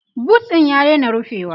boot ɗin ya daina rufewa